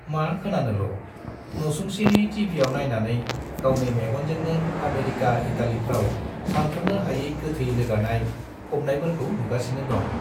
मा खोनानोल', न'सुंसेनि टिभियाव नाइनानै गावनि मेग'नजोंनो आमेरिका इटालिफ्राव सान्थ्र'नो हायै गोथै रोगानाय , फबनायफोरखौ नुगासिनो दं ।